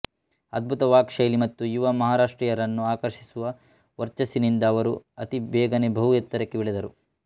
ಅದ್ಭುತ ವಾಕ್ ಶೈಲಿ ಮತ್ತು ಯುವ ಮಹಾರಾಷ್ಟ್ರೀಯರನ್ನು ಆಕರ್ಷಿಸುವ ವರ್ಚಸ್ಸಿನಿಂದ ಅವರು ಅತಿ ಬೇಗನೆ ಬಹು ಎತ್ತರಕ್ಕೆ ಬೆಳೆದರು